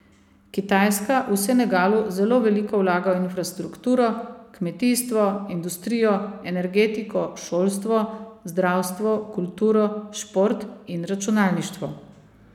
Kitajska v Senegalu zelo veliko vlaga v infrastrukturo, kmetijstvo, industrijo, energetiko, šolstvo, zdravstvo, kulturo, šport in računalništvo.